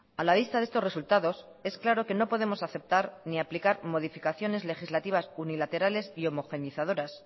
a la vista de estos resultados es claro que no podemos aceptar ni aplicar modificaciones legislativas unilaterales y homogenizadoras